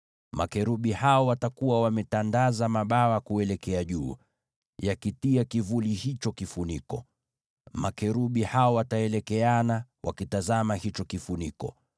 Makerubi hao watakuwa wametandaza mabawa kuelekea juu, yakitia kivuli hicho kifuniko. Makerubi hao wataelekeana, wakitazama hicho kifuniko.